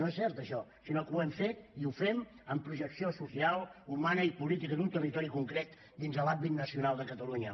no és cert això sinó que ho hem fet i ho fem amb projecció social humana i política d’un territori concret dins de l’àmbit nacional de catalunya